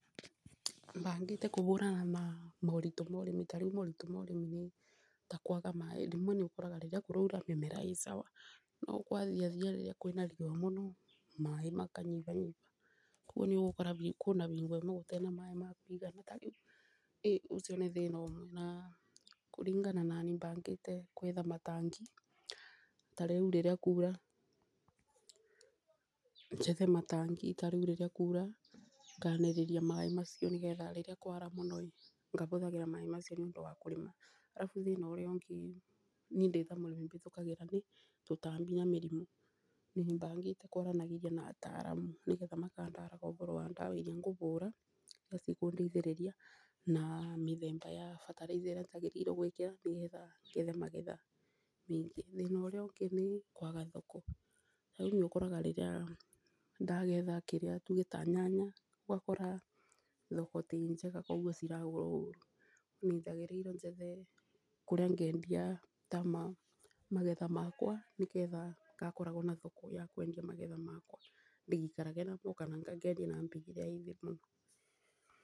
Bangĩte kũbũrana na moritũ ma ũrĩmi ta rĩu miritũ ma ũrĩmi nĩ ta kwaga maaĩ, rĩmwe nĩ ũkoraga rĩrĩa kũraura mĩmera ĩ sawa. No kwathiathia rĩrĩa kwĩna riũa mũno maaĩ makanyibanyiba koguo nĩ ũgũkora hingo ĩmwe gũtarĩ na maaĩ makũigana rĩu ũcio nĩ thĩna ũmwe. Na kũringana na niĩ bangĩte kwetha matangi, ta rĩu rĩrĩ kwaura njethe matangi, tarĩu rĩrĩ kwaura nganĩrĩria maaĩ macio nĩ getha rĩrĩa kwara mũno ĩ ngahũtagĩra maaĩ macio nĩ ũndũ wa kũrĩma. Arabu thĩna ũrĩa ũngĩ ĩ niĩ ndĩta mũrĩmi bĩtũkagĩra nĩ tũtambi na mĩrimũ. Nĩ bangĩte kwaranagĩria na ataramu, nĩgetha makandaraga ũboro wa ndawa irĩa ngũbũra na cikũndeithĩrĩria, na mĩthemba ya bataraitha ĩrĩa njagĩrĩirwo gwĩkĩra, nĩgetha ngethe magetha maingĩ. Thĩna ũrĩa ũngĩ nĩ kũaga thoko, ta rĩu nĩ ũkoraga ndagetha kĩrĩa tweta nyanya, ũgakora thoko ti njega koguo ciragũrwo ũru. Ningĩ yagĩrĩire njethe kũrĩa ngendia ta ma magetha makwa, nĩgetha ngakoragwo na thoko ya kwendia magetha makwa, ndigaikarage namo kana ngendia na mbei ĩrĩa ĩ thĩ mũno.